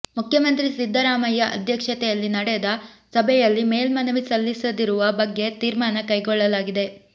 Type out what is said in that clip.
ಮುಖ್ಯಮಂತ್ರಿ ಸಿದ್ದರಾಮಯ್ಯ ಅಧ್ಯಕ್ಷತೆಯಲ್ಲಿ ನಡೆದ ಸಭೆಯಲ್ಲಿ ಮೇಲ್ಮನವಿ ಸಲ್ಲಿಸದಿರುವ ಬಗ್ಗೆ ತೀರ್ಮಾನ ಕೈಗೊಳ್ಳಲಾಗಿದೆ